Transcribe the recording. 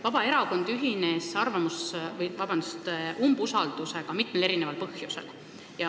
Vabaerakond ühines umbusaldusavaldusega mitmel põhjusel.